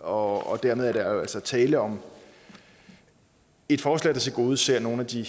og dermed er der jo altså tale om et forslag der tilgodeser nogle af de